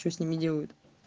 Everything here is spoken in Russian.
что с ними делают